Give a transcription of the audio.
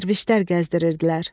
Dərvişlər gəzdirirdilər.